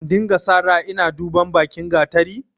In dinga sara ina duban bakin gatari?